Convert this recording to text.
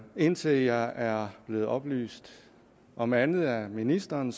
indtil jeg er blevet oplyst om andet af ministeren